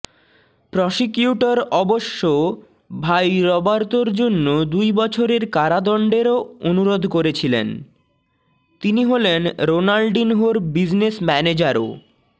prosecutor অবশ্য ভাই রবার্তোর জন্য দুই বছরের কারাদণ্ডেরও অনুরোধ করেছিলেন তিনি হলেন রোনাল্ডিনহোর বিজনেস ম্যানেজারও